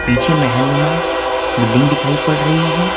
पीछे महल नुमा बिल्डिंग दिखाई पड़ रही है।